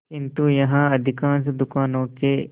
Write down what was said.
किंतु यहाँ अधिकांश दुकानों के